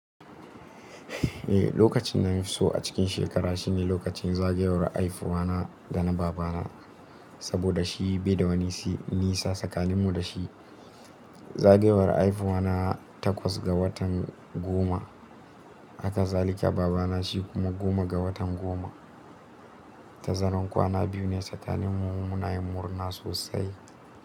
Eh, lokacin da na fi so a cikin shekara shine lokacin zagayowar haihuwa na da na baba na. Saboda shi bai da wani nisa tsakanin mu da shi. Zagayowar haihuwa na takwas ga watan goma, haka zalika baba na shi kuma goma ga watan goma. Ta zanen kwana biyu ne tsakaninmu mu na yin murna sosai.